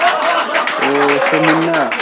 ও সে মুন্না?